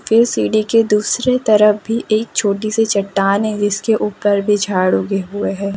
ये सीढ़ी के दूसरे तरफ भी एक छोटी सी चट्टान है जिसके ऊपर भी झाड़ उगे हुए है।